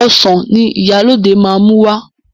Ọsàn ni Ìyálóde máa mú wá.